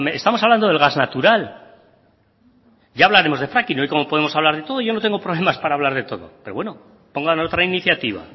estamos hablando del gas natural ya hablaremos de fracking hoy como podemos hablar de todo yo no tengo problemas para hablar de todo pero bueno pongan otra iniciativa